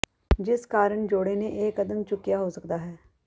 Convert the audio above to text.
ਜਿਸ ਕਾਰਨ ਜੋੜੇ ਨੇ ਇਹ ਕਦਮ ਚੁਕਿਆ ਹੋ ਸਕਦਾ ਹੈ